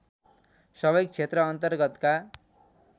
सबै क्षेत्र अन्तर्गतका